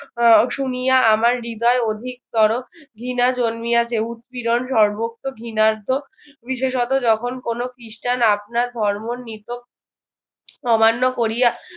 আহ শুনিয়া আমার হৃদয় অধিকতর ঘৃণা জন্মিয়াছে উৎপীড়ণ সর্বোক্ত ঘৃনার্ত বিশেষত যখন কোন খিষ্টান আপনার ধর্ম অমান্য করিয়া